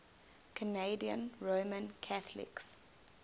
canadian roman catholics